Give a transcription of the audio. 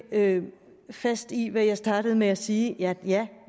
fast i hvad jeg startede med at sige at ja